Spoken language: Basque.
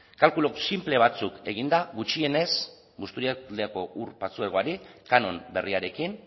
kalkulu sinple batzuk eginda gutxienez busturialdeako ur patzuergoari kanon berriarekin